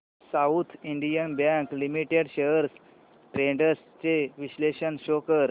south Indian bank limited shares trends चे विश्लेषण show कर